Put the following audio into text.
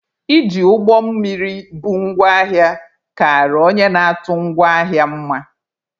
Iji ụgbọ mmiri bu ngwa ahịa kara onye na-atụ ngwa ahịa mma.